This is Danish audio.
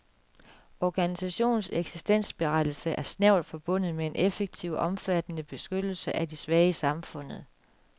Organisationens eksistensberettigelse er snævert forbundet med en effektiv og omfattende beskyttelse af de svage i samfundet.